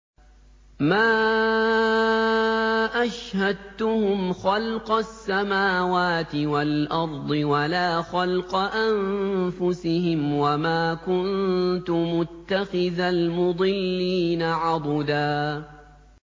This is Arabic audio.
۞ مَّا أَشْهَدتُّهُمْ خَلْقَ السَّمَاوَاتِ وَالْأَرْضِ وَلَا خَلْقَ أَنفُسِهِمْ وَمَا كُنتُ مُتَّخِذَ الْمُضِلِّينَ عَضُدًا